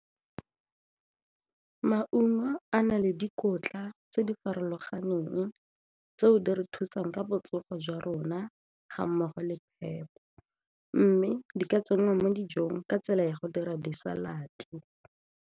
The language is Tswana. Maungo a na le dikotla tse di farologaneng tseo di re thusang ka botsogo jwa rona ga mmogo le phepa mme di ka tsenngwa mo dijong ka tsela ya go dira di-salad-te.